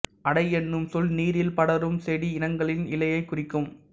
அடை என்னும் சொல் நீரில் படரும் செடி இனங்களின் இலையைக் குறிக்கும்